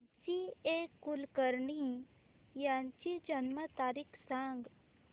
जी A Kulkarni यांची जन्म तारीख सांग